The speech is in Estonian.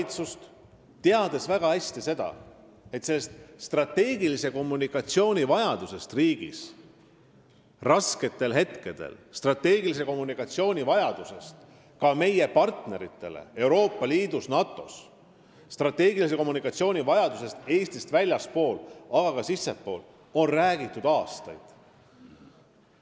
Te teate väga hästi, et strateegilise kommunikatsiooni vajadusest riigis rasketel hetketel, strateegilise kommunikatsiooni vajadusest ka meie partneritele Euroopa Liidus ja NATO-s, strateegilise kommunikatsiooni vajadusest Eestist väljaspool, aga ka seespool on räägitud aastaid.